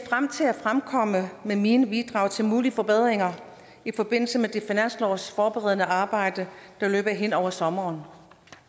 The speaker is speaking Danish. frem til at komme med mine bidrag til mulige forbedringer i forbindelse med det finanslovsforberedende arbejde der løber hen over sommeren